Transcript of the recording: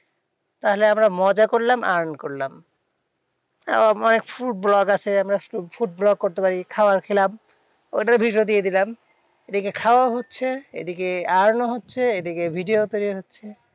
তাহলে আমরা মজা করলাম earn করলাম। আহ মানে food vlog আছে আমরা food vlog করতে পারি। খাবার খেলাম ঐটার video দিয়ে দিলাম। এদিকে খাওয়াও হচ্ছে এদিকে earn ও হচ্ছে। এদিকে video ও তৈরী হচ্ছে।